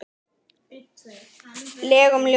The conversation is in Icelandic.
legum ljóðum.